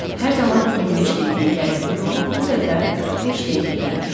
Hər zaman 25 dəqiqəyə gəldiyim yolu bu dəfə 45 dəqiqəyə gəlmişdim.